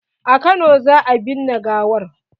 A kano za a binne gawar.